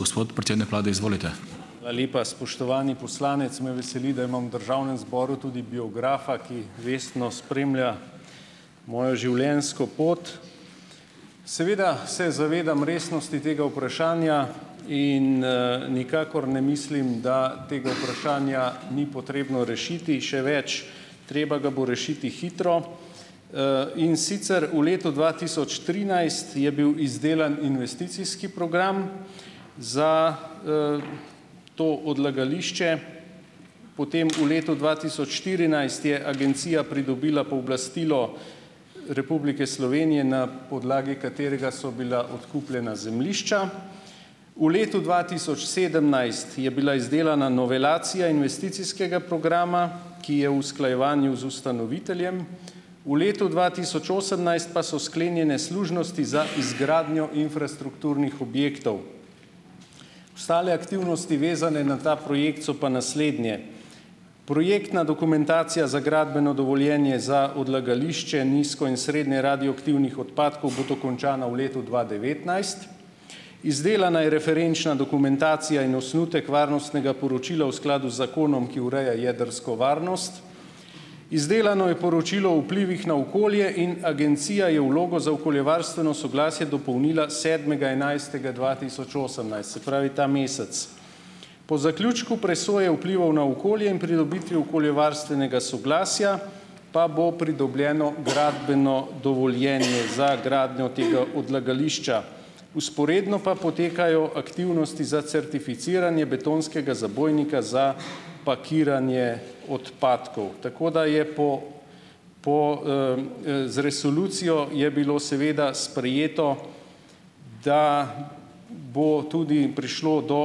Hvala lepa. Spoštovani poslanec, me veseli, da imam v Državnem zboru tudi biografa, ki vestno spremlja mojo življenjsko pot. Seveda se zavedam resnosti tega vprašanja in nikakor ne mislim, da tega vprašanja ni potrebno rešiti. Še več, treba ga bo rešiti hitro, in sicer v letu dva tisoč trinajst je bil izdelan investicijski program za to odlagališče. Potem v letu dva tisoč štirinajst je agencija pridobila pooblastilo Republike Slovenije, na podlagi katerega so bila odkupljena zemljišča. V letu dva tisoč sedemnajst je bila izdelana novelacija investicijskega programa, ki je v usklajevanju z ustanoviteljem. V letu dva tisoč osemnajst pa so sklenjene služnosti za izgradnjo infrastrukturnih objektov. Ostale aktivnosti, vezane na ta projekt, so pa naslednje: projektna dokumentacija za gradbeno dovoljenje za odlagališče nizko in srednje radioaktivnih odpadkov bo dokončana v letu dva devetnajst, izdelana je referenčna dokumentacija in osnutek varnostnega poročila v skladu z zakonom, ki ureja jedrsko varnost, izdelano je poročilo o vplivih na okolje in agencija je vlogo za okoljevarstveno soglasje dopolnila sedmega enajstega dva tisoč osemnajst, se pravi ta mesec. Po zaključku presoje vplivov na okolje in pridobitvi okoljevarstvenega soglasja, pa bo pridobljeno gradbeno dovoljenje za gradnjo tega odlagališča. Vzporedno pa potekajo aktivnosti za certificiranje betonskega zabojnika za pakiranje odpadkov, tako da je po, po z resolucijo je bilo seveda sprejeto, da bo tudi prišlo do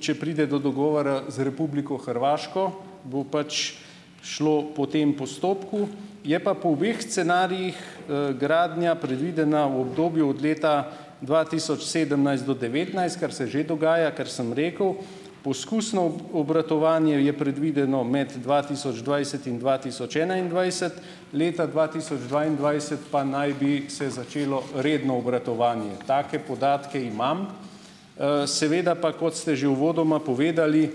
če pride do dogovora z Republiko Hrvaško, bo pač šlo po tem postopku, je pa po obeh scenarijih gradnja predvidena v obdobju od leta dva tisoč sedemnajst do devetnajst, kar se že dogaja, ker sem rekel, poskusno obratovanje je predvideno med dva tisoč dvajset in dva tisoč enaindvajset, leta dva tisoč dvaindvajset pa naj bi se začelo redno obratovanje. Take podatke imam, seveda pa, kot ste že uvodoma povedali,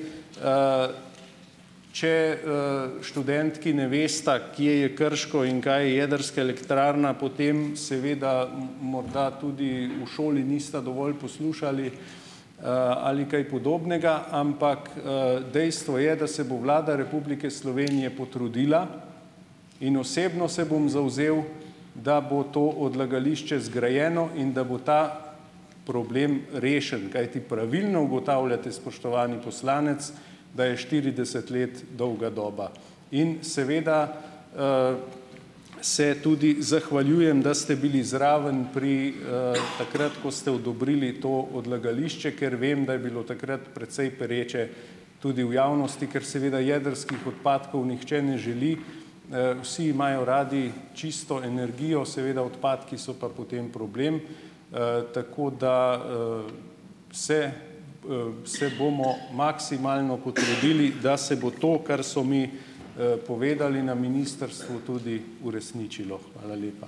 če študentki ne vesta, kje je Krško in kaj je jedrska elektrarna, potem seveda morda tudi v šoli nista dovolj poslušali ali kaj podobnega, ampak dejstvo je, da se bo Vlada Republike Slovenije potrudila in osebno se bom zavzel, da bo to odlagališče zgrajeno in da bo ta problem rešen. Kajti, pravilno ugotavljate, spoštovani poslanec, da je štirideset let dolga doba in seveda se tudi zahvaljujem, da ste bili zraven pri, takrat ko ste odobrili to odlagališče, ker vem, da je bilo takrat precej pereče tudi v javnosti, ker seveda jedrskih odpadkov nihče ne želi, vsi imajo radi čisto energijo, seveda odpadki so pa potem problem, tako da se se bomo maksimalno potrudili, da se bo to, kar so mi povedali na ministrstvu, tudi uresničilo. Hvala lepa.